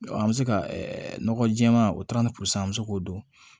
An bɛ se ka nɔgɔ jɛɛma o an bɛ se k'o don